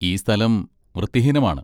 ഈ സ്ഥലം വൃത്തിഹീനമാണ്.